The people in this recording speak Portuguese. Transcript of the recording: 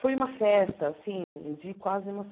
Foi uma festa assim de quase uma